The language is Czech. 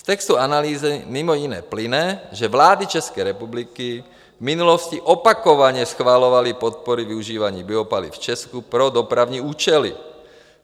Z textu analýzy mimo jiné plyne, že vlády České republiky v minulosti opakovaně schvalovaly podpory využívání biopaliv v Česku pro dopravní účely.